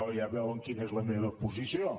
ja veuen quina és la meva posició